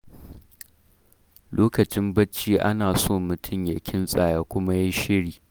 Lokacin barci ana so mutum ya kintsa ya kuma yi shiri.